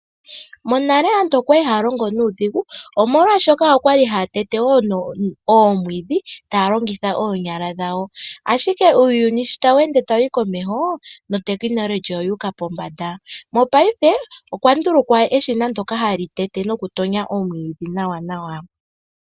Aantu ohaya longitha omambakumbaku oku pulula omapya ga wo oshoka ohaga endelele. Omambakumbaku oga pu no ku longitha woo.